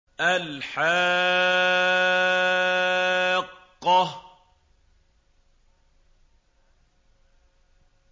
الْحَاقَّةُ